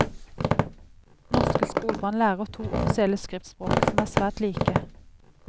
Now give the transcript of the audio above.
Norske skolebarn lærer to offisielle skriftspråk som er svært like.